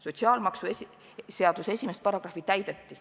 Sotsiaalmaksuseaduse § 1 täideti.